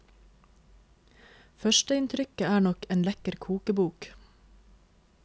Førsteinntrykket er nok en lekker kokebok.